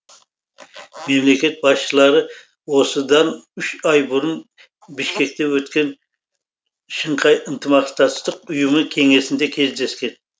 мемлекет басшылары осыдан үш ай бұрын бішкекте өткен шынхай ынтымақтастық ұйымы кеңесінде кездескен